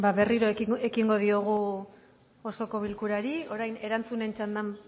berriro ekingo diogu osoko bilkurari orain erantzunen txandan